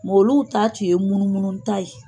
olu taa tun ye munumunu taa ye